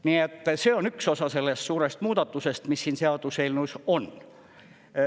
Nii et see on üks osa sellest suurest muudatusest, mis siin seaduseelnõus on.